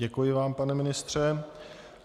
Děkuji vám, pane ministře.